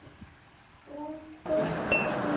Þrátt fyrir góðan vilja.